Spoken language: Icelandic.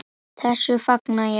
Þessu fagna ég.